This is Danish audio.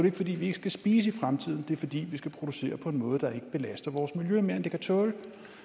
ikke fordi vi ikke skal spise i fremtiden det er fordi vi skal producere på en måde der ikke belaster vores miljø mere end det kan tåle